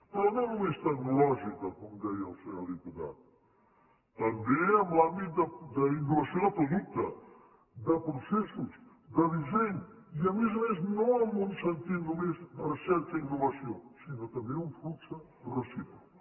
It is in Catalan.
però no només tecnològica com deia el senyor diputat també en l’àmbit d’innovació de producte de processos de disseny i a més a més no en un sentit només de recerca i innovació sinó també un flux recíproc